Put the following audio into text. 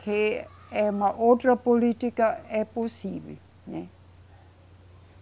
que é uma outra política, é possível, né.